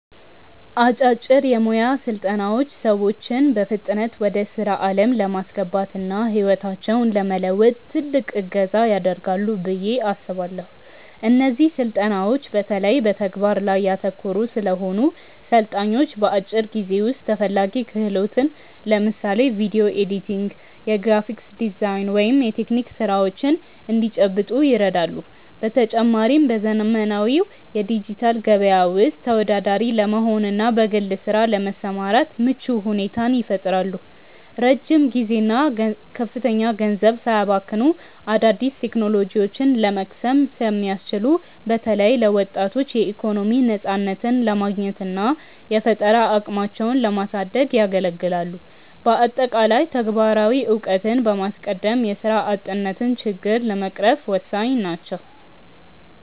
አጫጭር የሞያ ስልጠናዎች ሰዎችን በፍጥነት ወደ ስራ ዓለም ለማስገባትና ህይወታቸውን ለመለወጥ ትልቅ እገዛ ያደርጋሉ ብዬ አስባለው። እነዚህ ስልጠናዎች በተለይ በተግባር ላይ ያተኮሩ ስለሆኑ፣ ሰልጣኞች በአጭር ጊዜ ውስጥ ተፈላጊ ክህሎትን (ለምሳሌ ቪዲዮ ኤዲቲንግ፣ የግራፊክ ዲዛይን ወይም የቴክኒክ ስራዎች) እንዲጨብጡ ይረዳሉ። በተጨማሪም፣ በዘመናዊው የዲጂታል ገበያ ውስጥ ተወዳዳሪ ለመሆንና በግል ስራ ለመሰማራት ምቹ ሁኔታን ይፈጥራሉ። ረጅም ጊዜና ከፍተኛ ገንዘብ ሳያባክኑ አዳዲስ ቴክኖሎጂዎችን ለመቅሰም ስለሚያስችሉ፣ በተለይ ለወጣቶች የኢኮኖሚ ነፃነትን ለማግኘትና የፈጠራ አቅማቸውን ለማሳደግ ያገለግላሉ። በአጠቃላይ፣ ተግባራዊ እውቀትን በማስቀደም የስራ አጥነትን ችግር ለመቅረፍ ወሳኝ ናቸው።